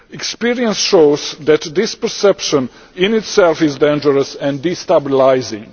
Experience shows that this perception in itself is dangerous and destabilising.